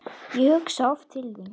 Ég hugsa oft til þín.